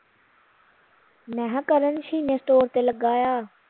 ਮੈਂ ਹਾ ਕਰਨ ਸ਼ੀਨੇ ਸਟੋਰ ਤੇ ਲੱਗਾ ਆ